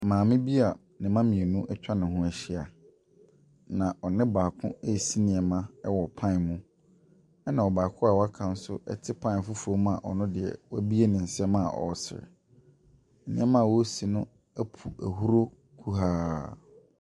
Maame bi a ne mma mmienu atwa ne ho ahyia. Na ɔne baako resi nneɛma wɔ pan bi mu. Ɛna ɔbaako a waka nso te pan foforo mu a ɔno deɛ, wabue ne nsam a ɔresere. Nneɛma a wɔresi no, apu ahuro kuhaa.